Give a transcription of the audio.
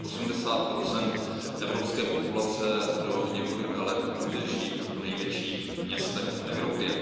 Až 80 evropské populace do několika let bude žít v největších městech v Evropě.